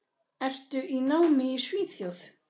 Ertu í námi í Svíþjóð?